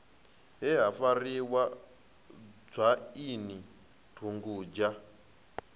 he ha farisa dzwaini dugudzha